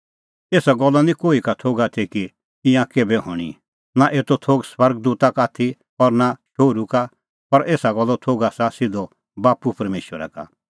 एसा गल्लो निं कोही का थोघ आथी कि ईंयां केभै हणीं नां एतो थोघ स्वर्ग दूता का आथी और नां शोहरू का पर एसा गल्लो थोघ आसा सिधअ बाप्पू परमेशरा का